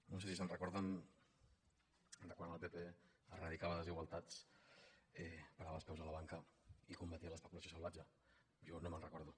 no sé si se’n recorden de quan el pp eradicava desigualtats parava els peus a la banca i combatia l’especulació salvatge jo no me’n recordo